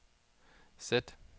sæt